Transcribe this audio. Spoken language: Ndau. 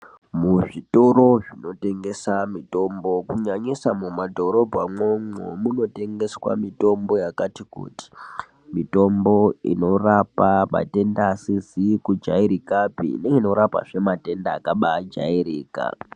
Muzvitoro zvinotengesa mitombo kunyanyiswa mumadhorobha mwomwo munotengeswa mitombo yakati kuti mitombo inorapa matenda asizi kujairikapi neanorapa matenda akajairika.